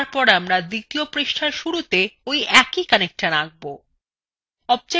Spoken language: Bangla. তারপর আমরা দ্বিতীয় পৃষ্ঠার শুরুতে we একই connector আঁকব